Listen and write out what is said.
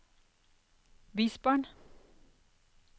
bysbarn